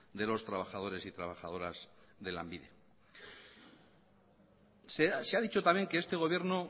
de los trabajadores y trabajadoras de lanbide se ha dicho también que este gobierno